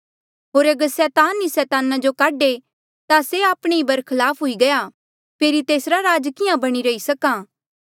होर अगर सैतान ई सैताना जो काढे ता से आपणे ही बरखलाफ हुई गया फेरी तेसरा राज किहाँ बणी रही सक्हा